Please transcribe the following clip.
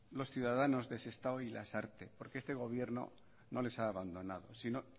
los ciudadanos de sestao y lasarte porque este gobierno no les ha abandonado sino